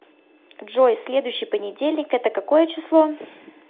джой следующей понедельник это какое число